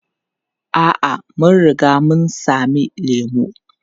A'a, mun riga mun sami lemu.